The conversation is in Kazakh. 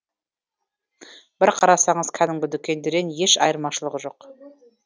бір қарасаңыз кәдімгі дүкендерден еш айырмашылығы жоқ